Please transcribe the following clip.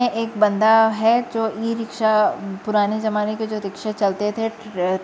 एक बंदा है जो इ रिक्शा पुराने जमाने के जो रिक्शे चलते थे ।